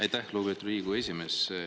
Aitäh, lugupeetud Riigikogu esimees!